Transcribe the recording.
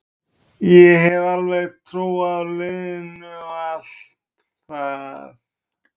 Ég hef alveg trú á liðinu og allt það.